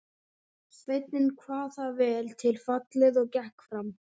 Sveinninn kvað það vel til fallið og gekk fram.